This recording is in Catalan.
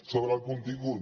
sobre el contingut